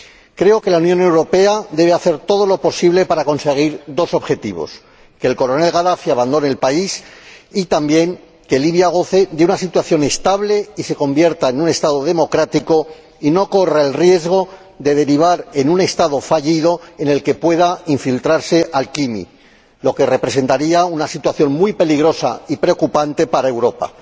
Creo que la Unión Europea debe hacer todo lo posible para conseguir dos objetivos que el coronel Gadafi abandone el país y, también, que Libia goce de una situación estable y se convierta en un Estado democrático, y no corra el riesgo de derivar en un Estado fallido en el que pueda infiltrarse AQMI, lo que representaría una situación muy peligrosa y preocupante para Europa.